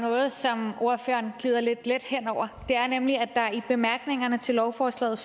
noget som ordføreren glider lidt let hen over nemlig at der står i bemærkningerne til lovforslaget